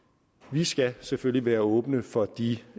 vi skal selvfølgelig være åbne for de